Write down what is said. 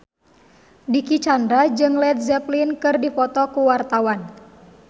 Dicky Chandra jeung Led Zeppelin keur dipoto ku wartawan